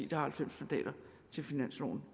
der har halvfems mandater til finansloven